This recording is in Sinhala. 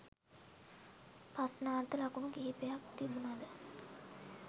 ප්‍රශ්නාර්ථ ලකුණු කිපයක් තිබුණද